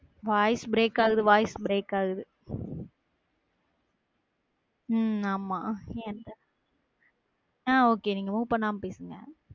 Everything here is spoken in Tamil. Voice break ஆகுது, voice break ஆகுது உம் ஆமா அஹ் okay move பண்ணாம பேசுங்க